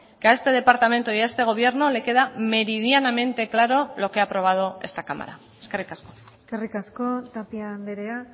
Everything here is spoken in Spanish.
que a este departamento y a este gobierno le queda meridianamente claro lo que ha aprobado esta cámara eskerrik asko eskerrik asko tapia andrea